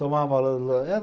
tomava era